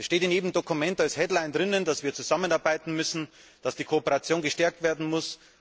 Es steht in jedem Dokument als headline dass wir zusammenarbeiten müssen, dass die Kooperation gestärkt werden muss.